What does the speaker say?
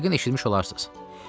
Yəqin eşitmiş olarsınız.